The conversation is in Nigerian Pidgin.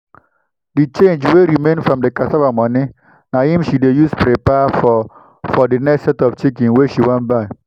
the change wey remain from the cassava moni na him she dey use prepare for for the next set of chickens wey she wan buy.